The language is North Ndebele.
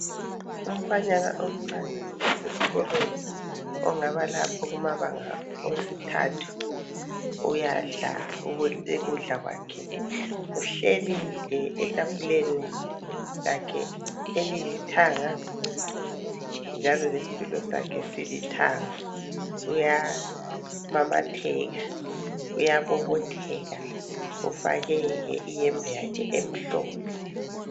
Umfanyana omcane osesikolweni ongaba lapha kumabanga esithathu uyadla ukudla kwakhe uhleli nje etafuleni lakhe eliyithanga njalo lesitulo sakhe esilithanga uyamamatheka uyabobotheka ufake iyembe yakhe emhlophe.